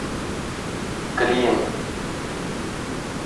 клин